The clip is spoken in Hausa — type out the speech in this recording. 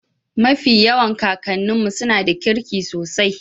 mafi yawan kakan'nu suna da kirki sosai